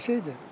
Həmin şeydir.